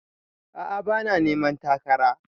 A'a bana neman takara